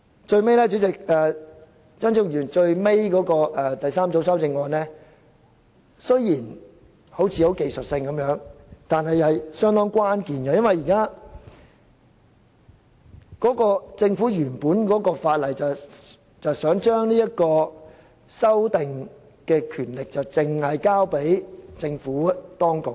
最後，張超雄議員的第三組修正案雖然看似是技術性修訂，但其實相當關鍵，因為政府原本的《條例草案》是想將修訂額外賠償額的權力單單交給政府當局。